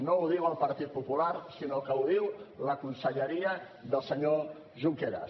no ho diu el partit popular sinó que ho diu la conselleria del senyor junqueras